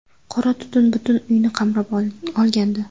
Qora tutun butun uyni qamrab olgandi.